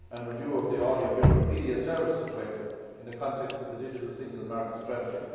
and review of the Audiovisual Media Services Directive in the context of the digital single market strategy.